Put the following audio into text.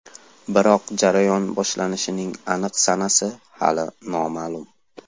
Biroq jarayon boshlanishining aniq sanasi hali noma’lum.